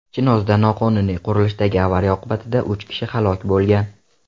Chinozda noqonuniy qurilishdagi avariya oqibatida uch kishi halok bo‘lgan.